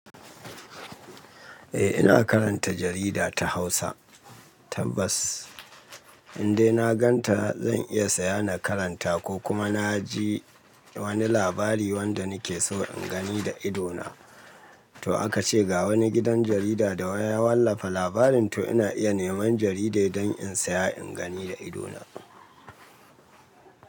Eh ina karanta jarida ta Hausa, tabbas. Indai na ganta zan iya saya na karanta ko kuma na ji wani labari wanda nake so in gani da ido na. To aka ce ga wani gidan jarida da wa ya wallafa labarin to ina iya neman jaridai don in saya in gani da ido na.